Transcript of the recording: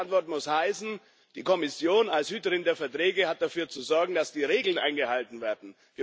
Die erste Antwort muss heißen Die Kommission als Hüterin der Verträge hat dafür zu sorgen, dass die Regeln eingehalten werden.